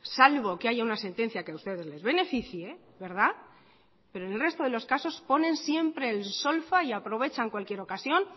salvo que haya una sentencia que a ustedes les beneficie en el resto de los casos ponen siempre en solfa y aprovechan cualquier ocasión